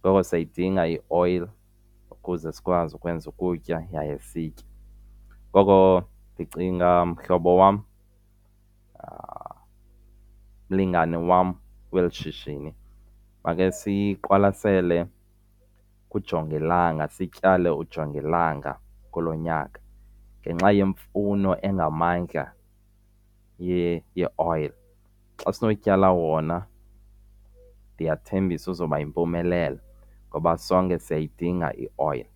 Ngoku siyidinga ioyile ukuze sikwazi ukwenza ukutya yaye sitye. Ngoko ndicinga mhlobo wam, mlingani wam, kweli shishini makhe siqwalasele ujongilanga. Sityale ujongilanga kulo nyaka ngenxa yemfuno engamandla ye yioyile. Xa siyotyala wona ndiyathembisa uzawuba yimpumelelo ngoba sonke siyayidinga ioyile.